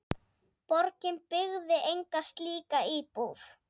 Borgin byggði enga slíka íbúð.